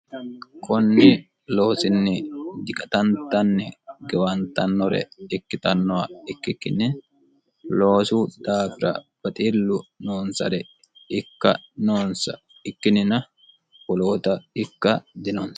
kunni loosinni diqatantanni gewantannore ikkitannowa ikkikkinni loosu daafira baxiillu noonsare ikka noonsa ikkinnina woloota ikka dinonsa